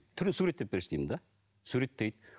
түрін суреттеп берші деймін де суреттейді